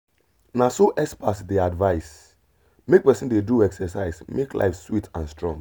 as you dey do exercise everyday you go dey see better change wey good for your body.